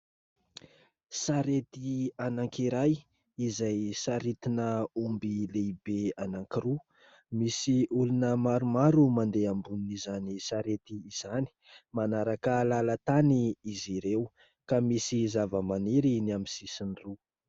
Sarety anankiray izay saritina omby lehibe anankiroa, misy olona maromaro mandeha ambonin' izany sarety izany ; manaraka lalantany izy ireo ka misy zavamaniry ny amin'ny sisiny roa.